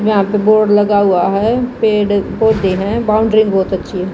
यहां पे बोर्ड लगा हुआ है पेड़ पौधे हैं बाउंडरी बहुत अच्छी है।